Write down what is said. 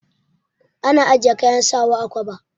Ana ajiye kayan sawa a kwaba.